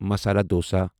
masala dosa